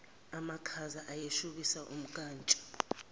amakhaza ayeshubisa umnkantsha